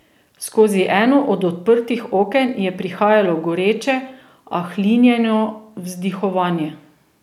Skozi eno od odprtih oken je prihajalo goreče, a hlinjeno vzdihovanje.